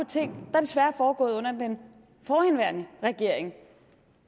ting der desværre er foregået under den forhenværende regering